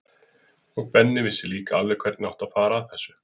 Og Benni vissi líka alveg hvernig átti að fara að þessu.